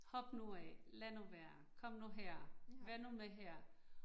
Hop nu af, lad nu være, kom nu her, vær nu med her